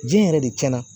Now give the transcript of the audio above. Jɛn yɛrɛ de cɛna